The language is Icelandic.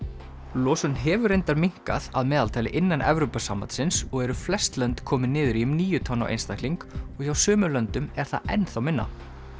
losun hefur reyndar minnkað að meðaltali innan Evrópusambandsins og eru flest lönd komin niður í um níu tonn á einstakling og hjá sumum löndum er það enn þá minna